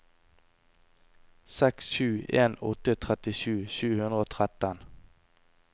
seks sju en åtte trettisju sju hundre og tretten